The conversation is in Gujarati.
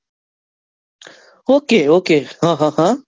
Okay, okay હ, હ, હ,